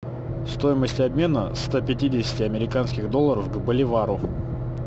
стоимость обмена ста пятидесяти американских долларов к боливару